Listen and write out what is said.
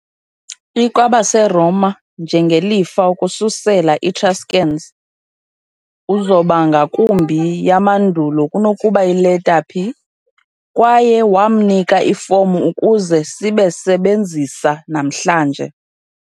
I - kwabaseroma njengelifa ukususela etruscans, a uzoba ngakumbi yamandulo kunokuba ileta "pi", kwaye wamnika ifomu ukuze sibe sebenzisa namhlanje.